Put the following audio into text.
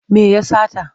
Me ya sata?